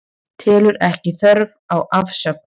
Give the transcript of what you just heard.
Telur ekki þörf á afsögn